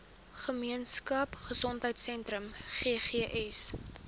gemeenskap gesondheidsentrum ggs